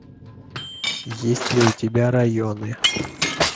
есть ли у тебя районы